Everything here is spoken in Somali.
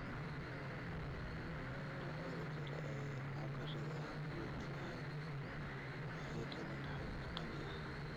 Noocyada kale ee cabbiraadaha guud ahaan waxay keeneen xog qani ah.